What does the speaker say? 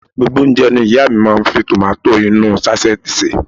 Gbogbo oúnjẹ ní ìyá à mi máa ń fi tòmátósì inú ú sáṣẹ́ẹ̀tì sè